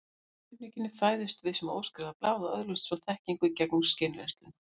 Samkvæmt raunhyggjunni fæðumst við sem óskrifað blað og öðlumst svo þekkingu gegnum skynreynsluna.